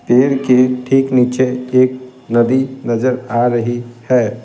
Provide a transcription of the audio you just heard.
पेड़ के ठीक नीचे एक नदी नजर आ रही है।